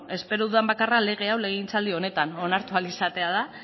espero dudan bakarra lege hau legegintzaldi honetan onartu ahal izatea da